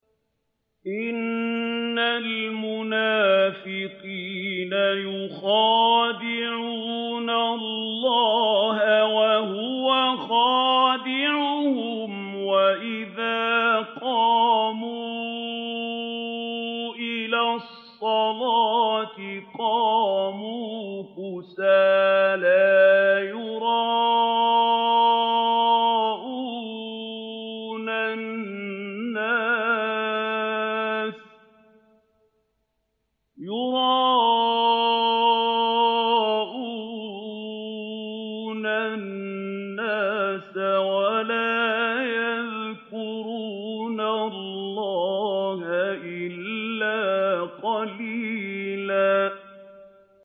إِنَّ الْمُنَافِقِينَ يُخَادِعُونَ اللَّهَ وَهُوَ خَادِعُهُمْ وَإِذَا قَامُوا إِلَى الصَّلَاةِ قَامُوا كُسَالَىٰ يُرَاءُونَ النَّاسَ وَلَا يَذْكُرُونَ اللَّهَ إِلَّا قَلِيلًا